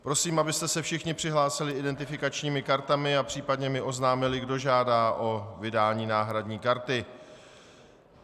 Prosím, abyste se všichni přihlásili identifikačními kartami a případně mi oznámili, kdo žádá o vydání náhradní karty.